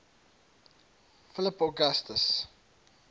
philip augustus